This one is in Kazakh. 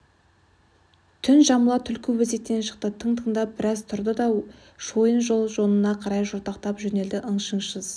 түн жамыла түлкі өзектен шықты тың-тыңдап біраз тұрды да шойын жол жонына қарай жортақтай жөнелді ың-шыңсыз